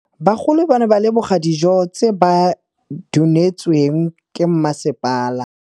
Bagolo ba ne ba leboga dijô tse ba do neêtswe ke masepala.